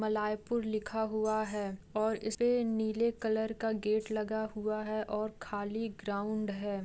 मलयपुर लिखा हुआ है और इस पे नीले कलर का गेट लगा हुआ है और खाली ग्राउंड है।